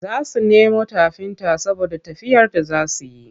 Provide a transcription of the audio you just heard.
Za su nemo tafinta saboda tafiyar da za su yi.